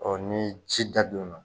ni ci dadon na